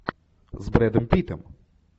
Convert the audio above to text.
с брэдом питтом